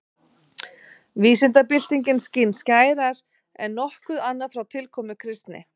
Vísindabyltingin skín skærar en nokkuð annað frá tilkomu kristni.